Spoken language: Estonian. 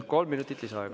Kolm minutit lisaaega.